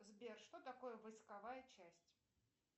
сбер что такое войсковая часть